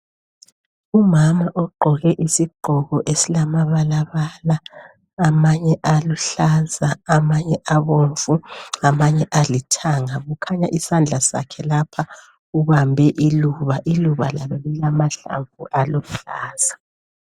Umama ogqoke isigqoko esilamabalabala amanye aluhlaza amanye abomvu amanye alithanga, kukhanya isandla sakhe lapha ubambe iluba. Iluba lilamahlamvu aluhlaza.